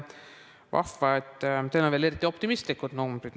Vahva, et teil on veel eriti optimistlikud numbrid.